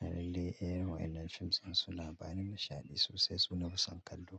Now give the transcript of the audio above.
Lallai, irin wa'yannan fim ɗin suna bani nishaɗi sosai, su na fi son kallo.